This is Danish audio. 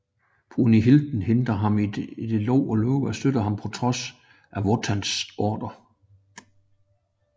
Brünnhilde hindrer ham i det og lover at støtte ham på trods af Wotans ordrer